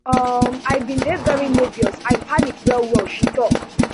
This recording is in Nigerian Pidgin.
um i bin dey very nerveous i panic wellwell she tok